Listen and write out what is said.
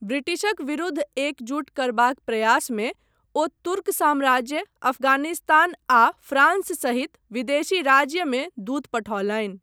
ब्रिटिशक विरुद्ध एकजुट करबाक प्रयासमे ओ तुर्क साम्राज्य, अफगानिस्तान आ फ्रांस सहित विदेशी राज्यमे दूत पठौलनि।